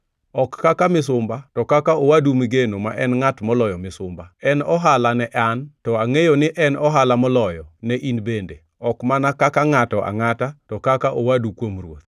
ok kaka misumba to kaka owadu migeno ma en ngʼat moloyo misumba. En ohala ne an, to angʼeyo ni en ohala moloyo ne in bende, ok mana kaka ngʼato angʼata, to kaka owadu kuom Ruoth.